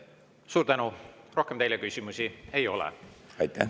Suur tänu, rohkem teile küsimusi ei ole.